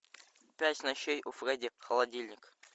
пять ночей у фредди холодильник